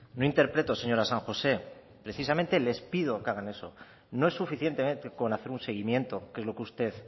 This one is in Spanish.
no interpreto señora san josé precisamente les pido que hagan eso no es suficientemente con hacer un seguimiento que es lo que usted